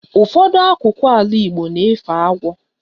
Ụfọdụ akụkụ ala igbo na-efe agwọ